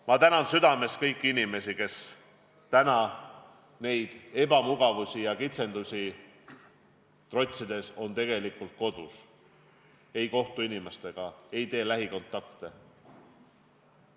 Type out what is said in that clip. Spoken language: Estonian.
Ma tänan südamest kõiki inimesi, kes täna neid ebamugavusi ja kitsendusi trotsides on kodus ega kohtu teiste inimestega, hoiduvad lähikontaktidest.